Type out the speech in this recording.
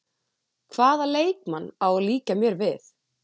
Hvaða leikmann á að líkja mér við?